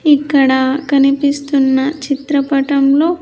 ఇక్కడ కనిపిస్తున్న చిత్రపటంలో.